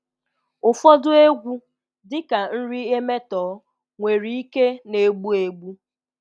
Ụfọdụ egwu, dị ka nri emetọọ, nwere ike na-egbu egbu.